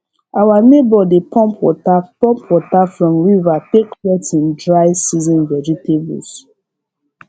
our neighbor dey pump water pump water from river take wet him dry season vegetables